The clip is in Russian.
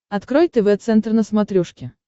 открой тв центр на смотрешке